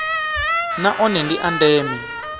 na one ndi a ndeme